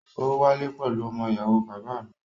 Ó wálé pẹ̀lú ọmọ ìyàwó bàbá à mi.